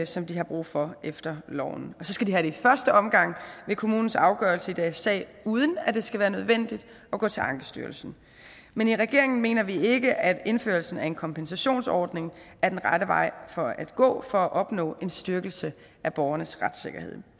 som de har brug for efter loven og så skal de have det i første omgang ved kommunens afgørelse i deres sag uden at det skal være nødvendigt at gå til ankestyrelsen men i regeringen mener vi ikke at indførelsen af en kompensationsordning er den rette vej at gå for at opnå en styrkelse af borgernes retssikkerhed